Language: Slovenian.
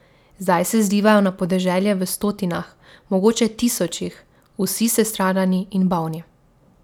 Zdaj se zlivajo na podeželje v stotinah, mogoče tisočih, vsi sestradani in bolni.